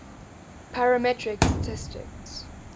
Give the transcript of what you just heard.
parametric statistics